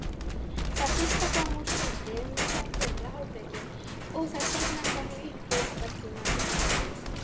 Það fyrsta kom úr víti um miðjan fyrri hálfleikinn og það seinna kom í uppbótartíma.